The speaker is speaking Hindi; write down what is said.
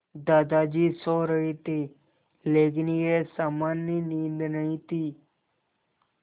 दादाजी सो रहे थे लेकिन यह सामान्य नींद नहीं थी